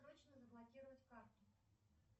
срочно заблокировать карту